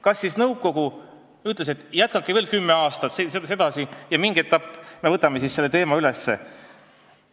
Kas siis nõukogu ütles, et jätkake veel kümme aastat sedasi, eks me mingil ajal võtame selle teema üles?